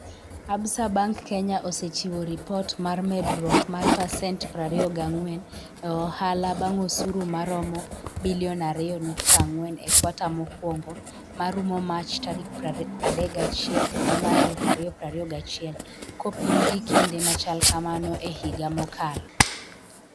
Absa Bank Kenya osechiwo ripot mar medruok mar pasent 24 e ohala bang osuru maromo Sh2.4 billion e kwata mokwongo ma rumo Mach 31, 2021, kopim gi kinde machal kamano e higa mokalo.